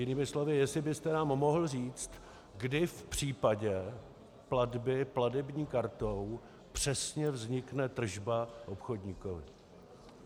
Jinými slovy, jestli byste nám mohl říct, kdy v případě platby platební kartou přesně vznikne tržba obchodníkovi.